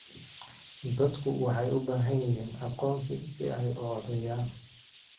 Dadku waxay u baahan yihiin aqoonsi si ay u codeeyaan.